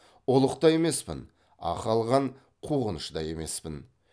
ұлық та емеспін ақы алған қуғыншы да емеспін